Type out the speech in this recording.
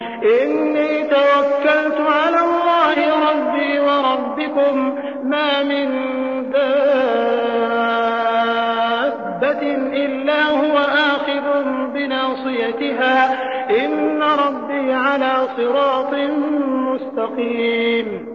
إِنِّي تَوَكَّلْتُ عَلَى اللَّهِ رَبِّي وَرَبِّكُم ۚ مَّا مِن دَابَّةٍ إِلَّا هُوَ آخِذٌ بِنَاصِيَتِهَا ۚ إِنَّ رَبِّي عَلَىٰ صِرَاطٍ مُّسْتَقِيمٍ